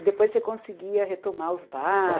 Depois você conseguia retomar os